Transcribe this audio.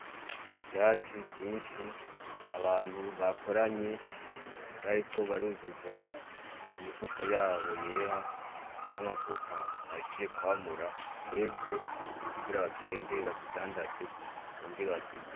Ivyatsi vyinshi, abantu bakoranye bariko baruzuza imifuko yabo yera n'amavoka bahejeje kwamura yeze kugira bagende bazidandaze bongere bazirye.